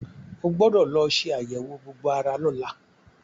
O gbọ́dọ̀ lọ ṣe àyẹ̀wò gbogbo ara lọ́la.